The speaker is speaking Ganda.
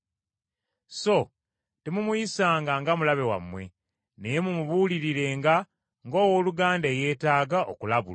So temumuyisanga nga mulabe wammwe naye mumubuulirirenga ng’owooluganda eyetaaga okulabulwa.